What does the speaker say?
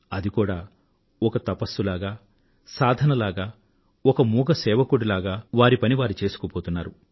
అది కూడా ఒక తపస్సు లాగ సాధన లాగ ఒక మూగ సేవకుడి లాగ వారి పనిని వారు చేసుకుపోతున్నారు